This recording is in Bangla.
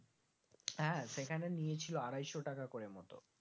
হ্যাঁ সেখানে নিয়ে ছিল আড়াইশো টাকা করে মতো